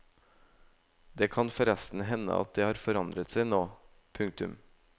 Det kan forresten hende at det har forandret seg nå. punktum